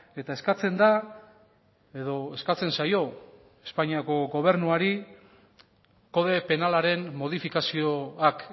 eta eskatzen da edo eskatzen zaio espainiako gobernuari kode penalaren modifikazioak